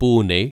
Pune